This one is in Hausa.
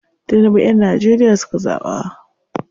Tinibu yan Nageria suka zaɓa.